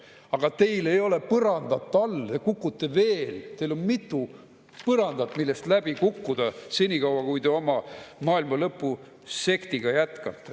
Aga teil ei ole põrandat all, te kukute veel, teil on mitu põrandat, millest läbi kukkuda, senikaua kui te oma maailmalõpusektiga jätkate.